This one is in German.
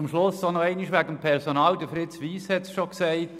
Zum Schluss noch einmal zum Personal: Fritz Wyss hat es bereits gesagt: